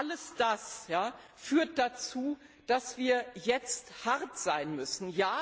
Alles das führt dazu, dass wir jetzt hart sein müssen.